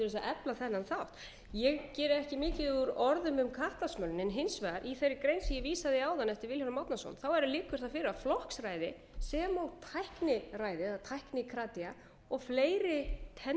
efla þennan þátt ég geri ekki mikið úr orðum um kattasmölun en hins vegar í þeirri grein sem ég vísaði í áðan eftir vilhjálm árnason liggur það fyrir að flokksræði sem og tækniræði eða tæknikratíu og fleiri tendensum eða tilhneigingar sem við